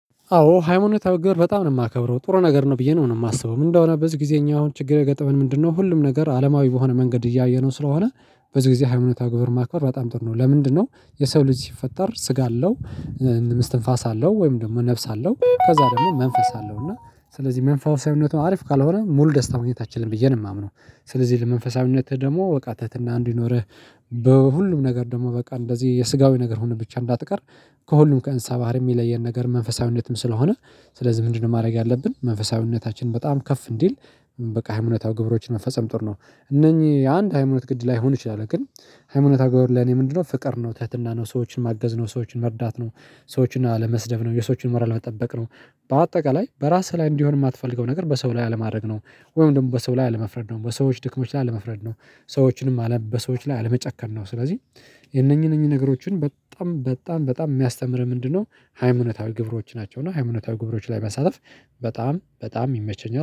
አዎ ሃይማኖታዊ ግበር በጣም ነው የማከብረው፤ ጥሩ ነገር ነው ብዬ ነው የማስበው። ምንድነው በዚህ ጊዜኛው ችግር የገጠብን ምንድነው ሁሉም ነገር አለማዊ በሆነ መንገድ እያየነው ስለሆነ፤ በዚህ ጊዜ ሃይማኖታዊ ግበር ማክበር በጣም ጥር ነው። ለምንድነው የሰው ልጅ ሲፈጠር ስጋ አለው፤ እንደ እምስት እንፋስ አለው፤ ወይም ደግሞ ነፍስ አለው ከዛ ደግሞ መንፈስ አለው እና ስለዚህ መንፈሳዊነቱ አሪፍ ካልሆነ ሙሉ ደስታ ማግኘታችንን ብዬ ነው የማምነው። ስለዚህ ለመንፈሳዊነትህ ደግሞ እቃ ትህትና እንዲኖርህ፤ በሁሉም ነገር ደግሞ በቃ እንደዚህ የስጋዊ ነገር ሆነ ብቻ እንዳትቀር፤ ከሁሉም ከእንስሳ ባህርይም የሚለየን ነገር መንፈሳዊነትም ስለሆነ፤ ስለዚህ ምንድነው ማድረግ ያለብን መንፈሳዊነታችንን በጣም ከፍ እንዲል በቃ ሃይማኖታዊ ግብሮችን መንፈሳዊ ጥር ነው። እነኚህ የአንድ ሃይማኖት ግድ ላይሆን ይችላል፤ ግን ሃይማኖት ግብር ለኔ ምንድነው? ፍቅር ነው፤ ትህትና ነው፤ ሰዎችን ማገዝ ነው፤ ሰዎችን መርዳት ነው፤ ሰዎችን አለመስደብ ነው፤ የሰዎችን ሞራል መጠበቅ ነው፤ በአጠቃላይ በራስህ ላይ እንዲሆን የማትፈልገው ነገር በሰው ላይ አለማድረግ ነው፤ ወይም ደግሞ በሰው ላይ አለመፍረድ ነው፤ በሰዎች ድክሞች ላይ አለመፍረድ ነው። በሰዎች ላይ አለመጨከን ነው፤ ስለዚህ የነኚህ ነኚህ ነገሮችን በጣም በጣም የሚያስተምር ምንድነው ሃይማኖታዊ ግብሮች ናቸው እና ሃይማኖታዊ ግብሮች ላይ መሳተፍ በጣም በጣም ይመቸኛል።